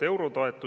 Head kolleegid!